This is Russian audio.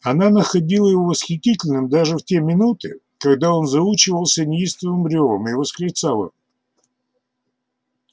она находила его восхитительным даже в те минуты когда он заучивался неистовым рёвом и восклицала